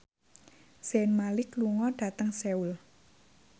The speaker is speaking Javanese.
Zayn Malik lunga dhateng Seoul